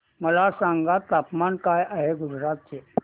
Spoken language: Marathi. मला सांगा तापमान काय आहे गुजरात चे